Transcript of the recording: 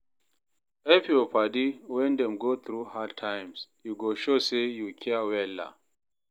Help yur padi wen dem go thru hard times, e go show say yu care wella